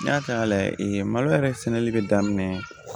N y'a ta lajɛ mali yɛrɛ sɛnɛli bɛ daminɛ